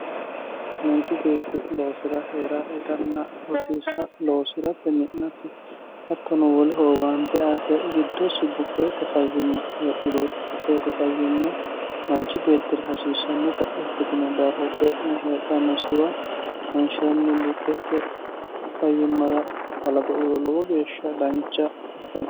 manchu beetti loosira heera itanna rosiisa loosiratte mi'nate hattono woleho owaante aate giddossi buqqeete fayyimma heedhurootti buqqeete fayyimma manchi beettire hasiissannota ikkitino daafo xe'ne heedhannosiwa wonshiranni buqqeete fayyimmara balaxo uuro lowo geeshsha dancha ikkano